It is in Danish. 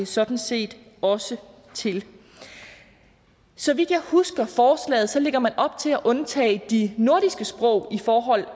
sådan set også til så vidt jeg husker forslaget lægger man op til at undtage de nordiske sprog i forhold